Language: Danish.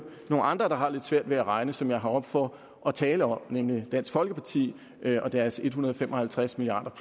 nogle andre der har lidt svært ved at regne som jeg er heroppe for at tale om nemlig dansk folkeparti og deres en hundrede og fem og halvtreds milliard